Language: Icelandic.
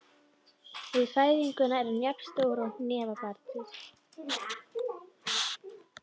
Við fæðingu er hann jafn stór hnefa barnsins.